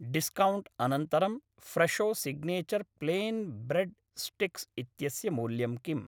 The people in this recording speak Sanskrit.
डिस्कौण्ट् अनन्तरं Fresho signature plain bread sticks इत्यस्य मूल्यं किम्?